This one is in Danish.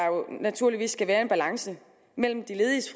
naturligvis skal være en balance mellem de lediges